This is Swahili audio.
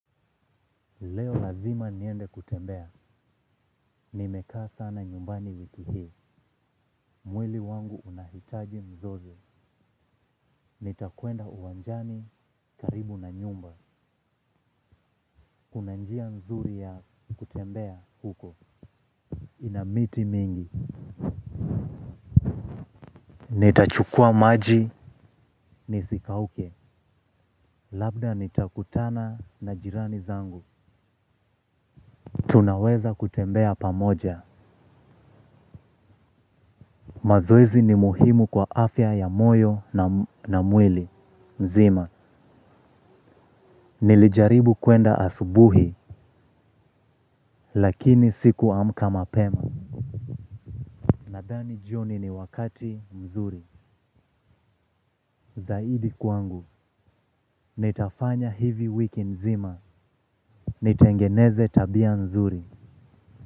Leo lazima niende kutembea, nimekaa sana nyumbani wiki hii, mwili wangu unahitaji mzozo, nitakwenda uwanjani karibu na nyumba. Kuna njia nzuri ya kutembea huko. Ina miti mingi nitachukua maji nisikauke labda nitakutana na jirani zangu. Tunaweza kutembea pamoja. Mazoezi ni muhimu kwa afya ya moyo na mwili mzima, nilijaribu kwenda asubuhi. Lakini siku amka mapema. Nadhani jioni ni wakati mzuri. Zaidi kwangu, nitafanya hivi wiki nzima. Nitengeneze tabia nzuri.